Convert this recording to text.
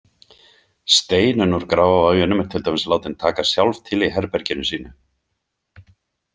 Steinunn úr Grafarvoginum er til dæmis látin taka sjálf til í herberginu sínu.